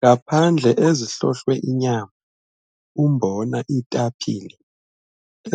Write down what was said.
Ngaphandle ezihlohlwe inyama, umbona, iitapile